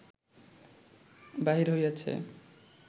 বাহির হইয়াছে